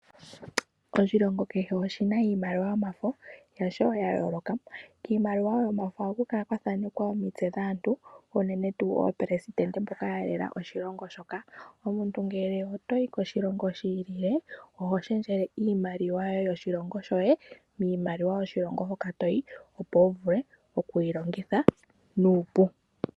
Oshilongo kehe oshina iimaliwa yomafo yasho yayooloka. Kiimaliwa yomafo ohaku kala kwathaanekwa omitse dhaantu unene tu aaleli mboka yalela oshilongo shoka. Omuntu ngele otoyi koshilongo shiilile ohoshendjele iimaliwa yoshilongo shoye miimaliwa yoshilongo hoka toyi opo wu vule okuyi longitha nuupu.